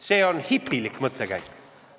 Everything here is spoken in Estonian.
See on hipilik mõttekäik.